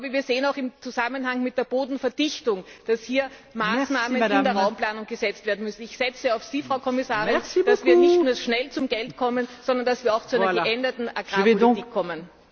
Wir sehen auch im Zusammenhang mit der Bodenverdichtung, dass hier Maßnahmen in der Raumplanung gesetzt werden müssen. Ich setze auf Sie, Frau Kommissarin, dass wir nicht nur schnell zum Geld kommen, sondern dass wir auch zu einer geänderten Agrarpolitik kommen.